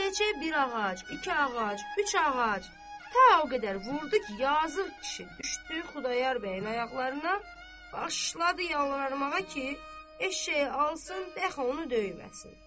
Eşşəkçiyə bir ağac, iki ağac, üç ağac, ta o qədər vurdu ki, yazıq kişi düşdü Xudayar bəyin ayaqlarına, başladı yalvarmağa ki, eşşəyi alsın, bəlkə onu döyməsin.